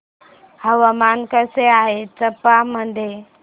हवामान कसे आहे चंबा मध्ये